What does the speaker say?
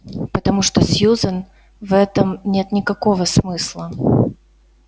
потому что сьюзен в этом нет никакого смысла